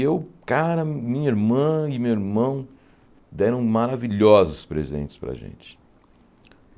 E eu, cara, minha irmã e meu irmão deram maravilhosos presentes para gente.